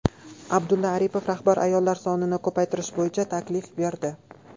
Abdulla Aripov rahbar ayollar sonini ko‘paytirish bo‘yicha taklif berdi.